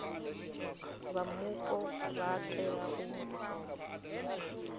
vha mupo vha tea u